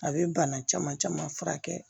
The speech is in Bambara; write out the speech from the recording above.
A bɛ bana caman caman furakɛ